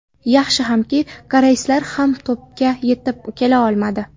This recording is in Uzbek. Yaxshi hamki, koreyslar ham to‘pga yetib kela olmadi.